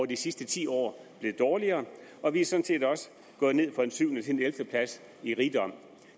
de sidste ti år blevet dårligere og vi er sådan set også gået ned fra en syvende plads til en ellevte plads i rigdom